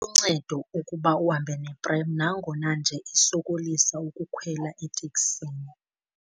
Luncedo ukuba uhambe neprem nangona nje isokolisa ukukhwela eteksini.